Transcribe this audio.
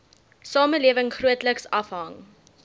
samelewing grootliks afhang